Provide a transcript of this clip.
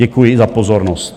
Děkuji za pozornost.